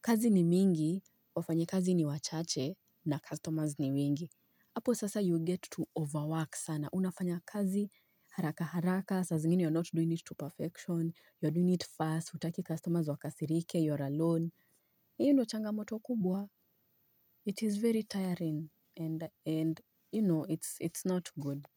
kazi ni mingi, wafanyi kazi ni wachache na customers ni wengi. Apo sasa you get to overwork sana. Unafanya kazi haraka haraka, saa zingine you're not doing it to perfection, you're doing it fast, hutaki customers wakasirike, you're alone. Hiyo ndo changa moto kubwa. It is very tiring and you know it's not good.